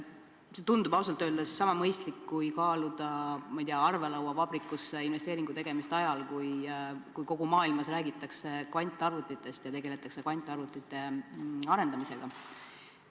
See tundub ausalt öeldes sama mõistlik, kui kaaluda arvelauavabrikusse investeeringu tegemist ajal, kui kogu maailmas räägitakse kvantarvutitest ja tegeletakse kvantarvutite arendamisega.